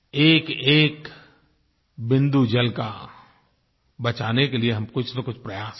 एकएक बूँद जल का बचाने के लिये हम कुछनकुछ प्रयास करें